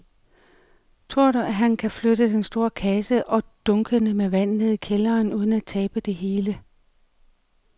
Tror du, at han kan flytte den store kasse og dunkene med vand ned i kælderen uden at tabe det hele?